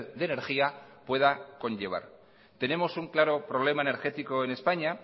de energía pueda conllevar tenemos un claro problema energético en españa